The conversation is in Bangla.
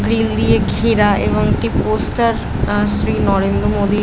গ্রিল দিয়ে ঘেরা এবং একটি পোস্টার আ শ্রী নরেন্দ্র মদির --